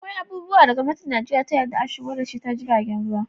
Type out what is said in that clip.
Akwai abubuwa da gwamnatin Nijeriya ta yadda a shigo da shi ta jiragen ruwa